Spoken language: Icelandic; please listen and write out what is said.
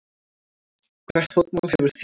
Hvert fótmál hefur þýðingu.